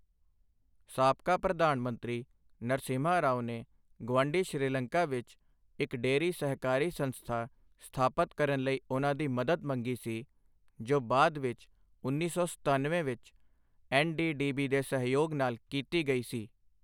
ਸਾਬਕਾ ਪ੍ਰਧਾਨ ਮੰਤਰੀ ਨਰਸਿਮਹਾ ਰਾਓ ਨੇ ਗੁਆਂਢੀ ਸ੍ਰੀਲੰਕਾ ਵਿੱਚ ਇੱਕ ਡੇਅਰੀ ਸਹਿਕਾਰੀ ਸੰਸਥਾ ਸਥਾਪਤ ਕਰਨ ਲਈ ਉਨ੍ਹਾਂ ਦੀ ਮਦਦ ਮੰਗੀ ਸੀ ਜੋ ਬਾਅਦ ਵਿੱਚ ਉੱਨੀ ਸੌ ਸਤਨਵੇਂ ਵਿੱਚ ਐੱਨ.ਡੀ.ਡੀ.ਬੀ ਦੇ ਸਹਿਯੋਗ ਨਾਲ ਕੀਤੀ ਗਈ ਸੀ।